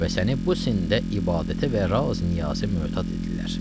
Və səni bu sində ibadətə və raz-niyaza mötəd edirlər.